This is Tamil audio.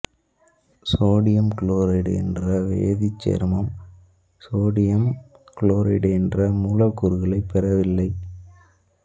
சோடியம் குளோரைடு என்ற வேதிச் சேர்மம் சோடியம் குளோரைடு என்ற மூலக்கூறுகளைப் பெறவில்லை